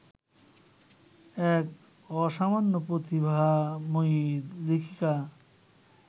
এক অসামান্য প্রতিভাময়ী লেখিকা